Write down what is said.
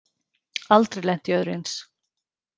Aldrei lent í öðru eins